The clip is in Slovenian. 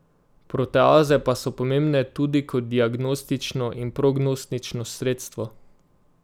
Proteaze pa so pomembne tudi kot diagnostično in prognostično sredstvo.